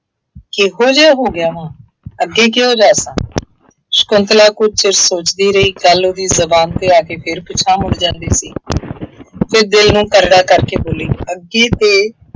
ਕਿਹੋ ਜਿਹਾ ਹੋ ਗਿਆ ਵਾਂ, ਅੱਗੇ ਕਿਹੋ ਜਿਹਾ ਸਾਂ, ਸ਼ੰਕੁਤਲਾ ਕੁੱਝ ਚਿਰ ਸੋਚਦੀ ਰਹੀ। ਗੱਲ ਉਹਦੀ ਜ਼ੁਬਾਨ ਤ ਆ ਕੇ ਫੇਰ ਪਿਛਾਂਹ ਮੁੜ ਜਾਦੀ ਸੀ ਅਤੇ ਦਿਲ ਨੂੰ ਕਰੜਾ ਕਰਕੇ ਬੋਲੀ ਅੱਗੇ ਤੇ